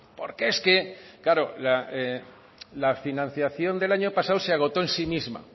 porque es que claro la financiación del año pasado se agotó en sí misma